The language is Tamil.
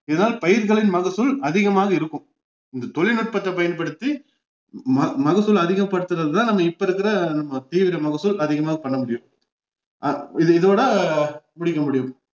இதான் பயிர்களின் மகசூல் அதிகமாக இருக்கும் இந்த தொழில்நுட்பத்தை பயன்படுத்தி ம~ மகசூல் அதிகப்படுத்துறதுதான் நம்ம இப்ப இருக்குற நம்ம தீவிர மகசூல் அதிகமா பண்ண முடியும் அப்~ இது இதோட முடிக்க முடியும்